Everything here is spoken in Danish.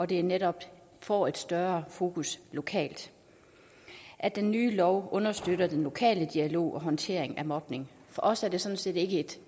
det netop får et større fokus lokalt at den nye lov understøtter den lokale dialog og håndtering af mobning for os er det sådan set ikke et